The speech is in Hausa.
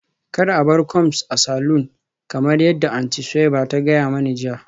Kar a bar combs a saloon kamar yadda Aunty Suweiba ta gaya mani jiya